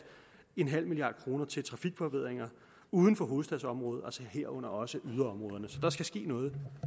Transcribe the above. en halv milliard kroner til trafikforbedringer uden for hovedstadsområdet herunder også yderområderne så der skal ske noget